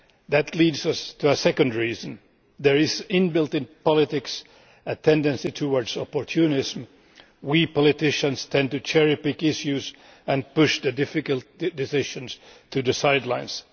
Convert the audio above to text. That leads us to a second reason. There is inbuilt in politics a tendency towards opportunism. We politicians tend to cherry pick issues and push the difficult decisions to the sidelines.